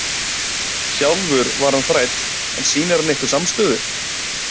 Sjálfur var hann þræll en sýnir hann ykkur samstöðu?